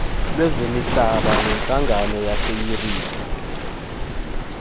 lezemihlaba nentlangano yaseyuriphu